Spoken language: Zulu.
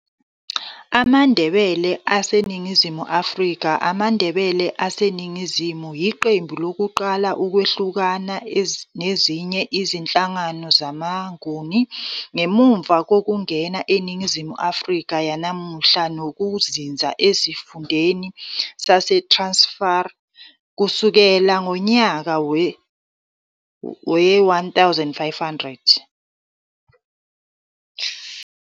AmaNdebele aseNingizimu AfrikaamaNdebele aseningizimu, yiqembu lokuqala ukwehlukana nezinye izinhlanga zamaNguni, ngemuva kokungena eNingizimu Afrika yanamuhla nokuzinza esifundeni saseTransvaal kusukela ngonyaka we-1500.